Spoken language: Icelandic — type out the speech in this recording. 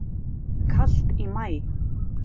Kalt í maí